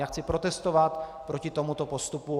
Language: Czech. Já chci protestovat proti tomuto postupu.